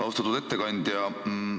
Austatud ettekandja!